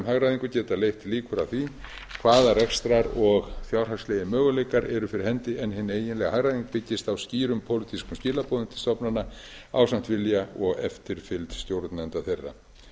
hagræðingu geta leitt líkur að því hvaða rekstrar og fjárhagslegir möguleikar eru fyrir heim en hin eiginlega hagræðing byggist á skýrum pólitískum skilaboðum til stofnana ásamt vilja og eftirfylgd stjórnenda þeirra